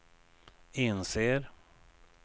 inser